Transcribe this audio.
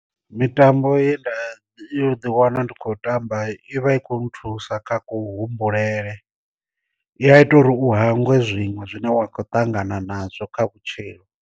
Mitambo ye nda i u ḓi wana ndi khou tamba i vha i khou nthusa kha ku humbulele, i ya ita uri u hangwe zwiṅwe zwine wa kho ṱangana nazwo kha vhutshilo.